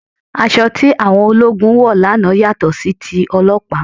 Aṣọ tí àwọn ológun wọ̀ lánàá yàtọ̀ sí ti ọlọ́pàá